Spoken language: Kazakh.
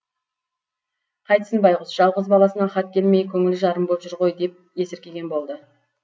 қайтсін байғұс жалғыз баласынан хат келмей көңілі жарым боп жүр ғой деп есіркеген болды